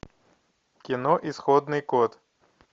кино исходный код